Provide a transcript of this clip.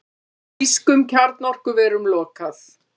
Þýskum kjarnorkuverum lokað